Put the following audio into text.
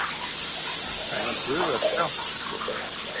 En hann dugar skammt sko.